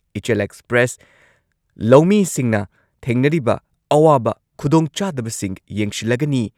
ꯏꯆꯦꯜ ꯑꯦꯛꯁꯄ꯭ꯔꯦꯁ, ꯂꯧꯃꯤꯁꯤꯡꯅ ꯊꯦꯡꯅꯔꯤꯕ ꯑꯋꯥꯕ ꯈꯨꯗꯣꯡꯆꯥꯗꯕꯁꯤꯡ ꯌꯦꯡꯁꯤꯜꯂꯒꯅꯤ꯫